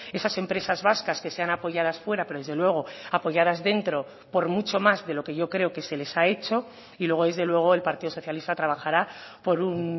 esas empresas vascas que sean apoyadas fuera pero desde luego apoyadas dentro por mucho más de lo que yo creo que se les ha hecho y luego desde luego el partido socialista trabajará por un